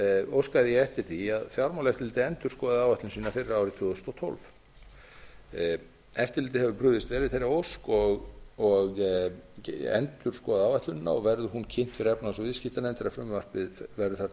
óskaði ég eftir því að fjármálaeftirlitið endurskoðaði áætlun síðar fyrir árið tvö þúsund og tólf eftirlitið hefur brugðist vel við þeirri ósk og endurskoðað áætlunina og verður hún kynnt fyrir efnahags og viðskiptanefnd þegar frumvarpið verður